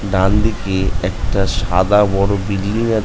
ডান দিকে একটা সাদা বড় বিল্ডিং--